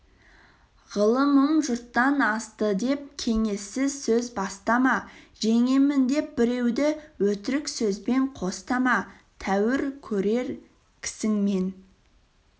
ғылымым жұрттан асты деп кеңессіз сөз бастама жеңемін деп біреуді өтірік сөзбен қостама тәуір көрер кісіңмен